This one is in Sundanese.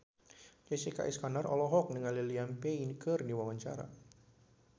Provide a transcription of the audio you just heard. Jessica Iskandar olohok ningali Liam Payne keur diwawancara